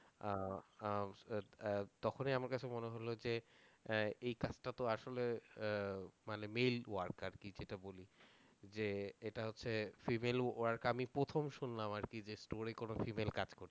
আহ আহ তখনই আমার কাছে মনে হল যে আহ এই কাজটা তো আসলে আহ মানে male work আর কি যেটা বলি যে এটা হচ্ছে female work আমি প্রথম শুনলাম আরকি যে store এ কোন female কাজ করছে।